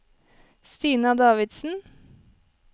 Stina Davidsen